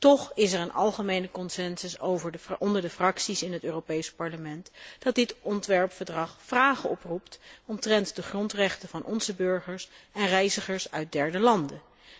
Toch is er een algemene consensus onder de fracties in het Europees Parlement, dat dit ontwerpverdrag vragen oproept omtrent de grondrechten van onze burgers en reizigers uit derde landen.